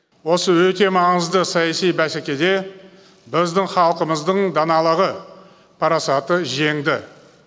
осы өте маңызды саяси бәсекеде біздің халқымыздың даналығы парасаты жеңді